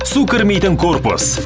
су кірмейтін корпус